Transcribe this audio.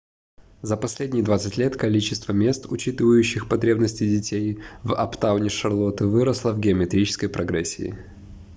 за последние 20 лет количество мест учитывающих потребности детей в аптауне шарлотты выросло в геометрической прогрессии